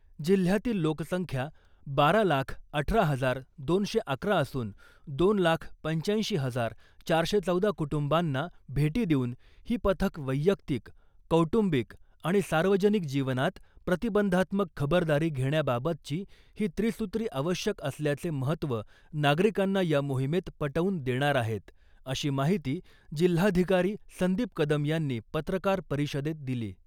जिल्हयातील लोकसंख्या बारा लाख अठरा हजार दोनशे अकरा असून दोन लाख पंचाऐंशी हजार चारशे चौदा कुटुंबांना भेटी देऊन ही पथक वैयक्तिक , कौटुंबिक आणि सार्वजनिक जीवनात प्रतिबंधात्मक खबरदारी घेण्याबाबतची ही त्रिसुत्री आवश्यक असल्याचे महत्व नागरिकांना या मोहिमेत पटवून देणार आहेत , अशी माहिती जिल्हाधिकारी संदीप कदम यांनी पत्रकार परिषदेत दिली .